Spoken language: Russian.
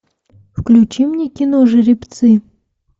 включи мне кино жеребцы